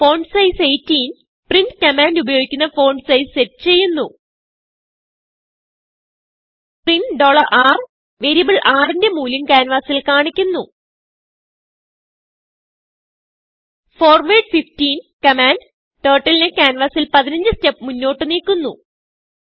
font size 18പ്രിന്റ് command ഉപയോഗിക്കുന്ന font size set ചെയ്യുന്നു പ്രിന്റ് rവേരിയബിൾ rന്റെ മൂല്യം ക്യാൻവാസിൽ കാണിക്കുന്നു ഫോർവാർഡ് 15കമാൻഡ് turtleനെ ക്യാൻവാസിൽ15സ്റ്റെപ് മുന്നോട്ട് നീക്കുന്നു